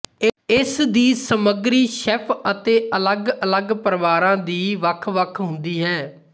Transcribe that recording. ਇਸਦੀ ਸਮੱਗਰੀ ਸ਼ੈੱਫ ਅਤੇ ਅੱਲਗ ਅਲੱਗ ਪਰਿਵਾਰਾਂ ਦੀ ਵੱਖ ਵੱਖ ਹੁੰਦੀ ਹੈ